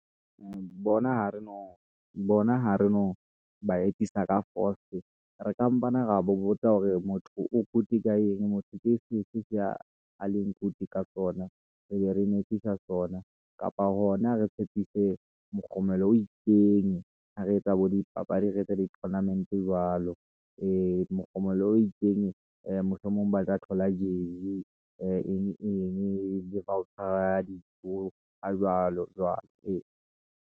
Bona, ha re no ba etsisa ka fost, re ka mpane ra ba botsa hore motho o good ka eng. Motho ke se fe a leng good ka sona, re be re mo etsisa sona kapa hona re tshepise mokgomelo o itseng ha re etsa bo dipapadi. Re etse di tournament jwalo. Ee, mokgomelo o itseng mohlomong baka thola jersey eng eng le offer ya dijo, ha jwalo-jwalo, ee.